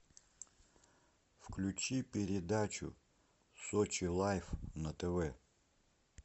включи передачу сочи лайф на тв